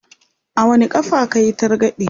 a wani ƙafa kayi targaɗe?